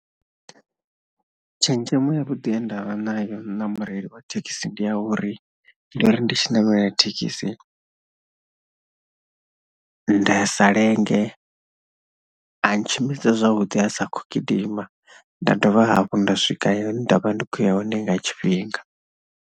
Tshenzhemo yavhuḓi ye nda vha nayo na mureili wa thekhisi ndi a uri ndi uri, ndo ri ndi tshi ṋamela thekhisi nda sa lenge, a ntshimbidza zwavhuḓi ha sa khou gidima, nda dovha hafhu nda swika hune nda vha ndi khou ya hone nga tshifhinga.